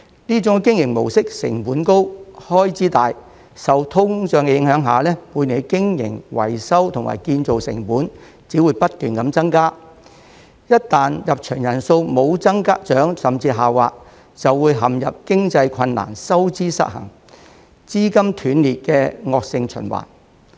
這種經營模式成本高、開支大，受通脹影響下，每年的經營、維修及建造成本只會不斷增加，一旦入場人數無增長甚至下滑，便會陷入經營困難、收支失衡、資金斷裂的惡性循環。